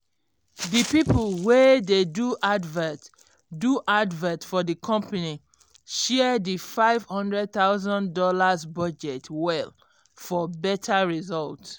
d people wey dey do advert do advert for d company share d five hundred thousand dollars budget well for better result